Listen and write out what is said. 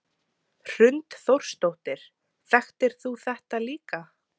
Hrund Þórsdóttir: Þekktir þú þetta líka?